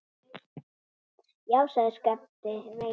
Já, sagði Skapti veikt.